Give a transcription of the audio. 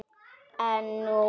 En nú var það hætt.